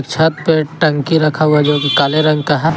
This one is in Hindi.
छत पर टंकी रखा हुआ है जो कि काले रंग का है।